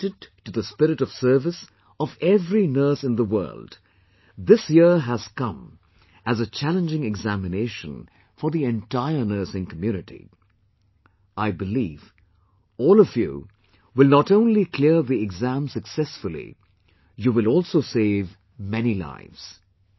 Dedicated to the spirit of service of every nurse in the world, this year has come as a challenging examination for the entire Nursing community...I believe, all of you will not only clear the exam successfully, you will also save many lives